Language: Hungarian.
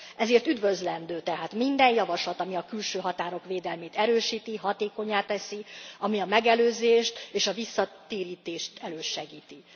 Ezért üdvözlendő tehát minden javaslat, ami a külső határok védelmét erősíti, hatékonnyá teszi, ami a megelőzést és a visszatérítést elősegíti.